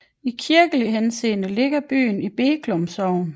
I kirkelig henseende ligger byen i Breklum Sogn